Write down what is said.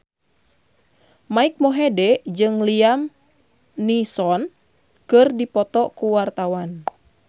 Mike Mohede jeung Liam Neeson keur dipoto ku wartawan